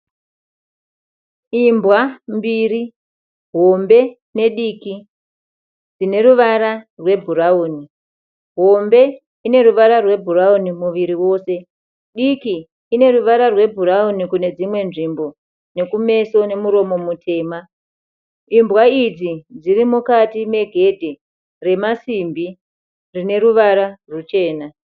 Imbwa mbiri hombe nediki, dzineruvara rwebhurauni. Hombe ineruvara rwebhurauni muviri wose, diki ineruvara rwebhurauni kunedzimwe nzvimbo nekumeso nemuromo mutema. Imbwa idzi dzirimukati megende remasimbi rineruvara rwuchena.